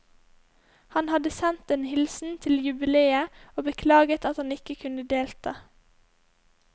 Han hadde sendt en hilsen til jubileet og beklaget at han ikke kunne delta.